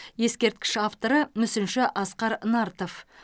ескерткіш авторы мүсінші асқар нартов